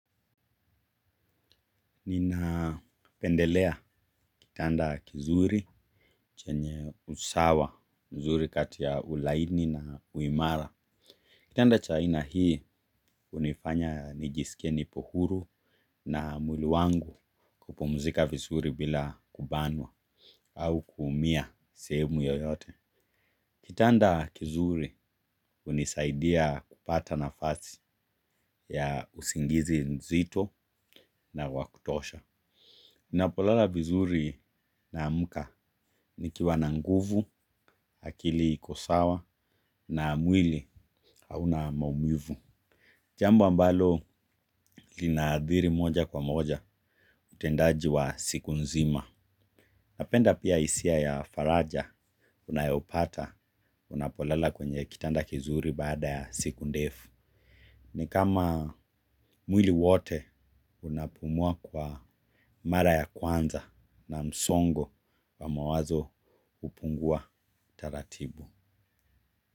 Nina pendelea kitanda kizuri chenye usawa mzuri kati ya ulaini na uimara kitanda cha aina hii hunifanya nijisikie nipo huru na mwili wangu kupumzika vizuri bila kubanwa au kuumia sehemu yoyote kitanda kizuri hunisaidia kupata nafasi ya usingizi nzito na wa kutosha. Ninapolala vizuri naamka ni kiwa na nguvu, akili iko sawa na mwili hauna maumivu. Jambo ambalo linaadhiri moja kwa moja utendaji wa siku nzima. Napenda pia hisia ya faraja unayoipata unapolala kwenye kitanda kizuri baada ya siku ndefu ni kama mwili wote unapumua kwa mara ya kwanza na msongo wa mawazo hupungua taratibu.